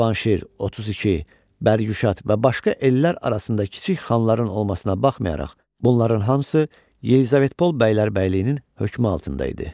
Cavanşir, 32, Bəryüşat və başqa ellər arasında kiçik xanların olmasına baxmayaraq, bunların hamısı Yelizavetpol bəylərbəyliyinin hökmü altında idi.